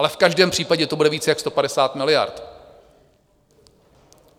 Ale v každém případě to bude víc než 150 miliard.